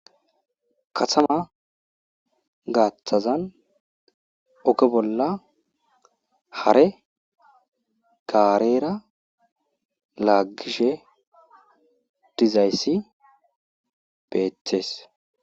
kasama gaaththazan okke bolla hare gaareera laagishe dizayssi beeththees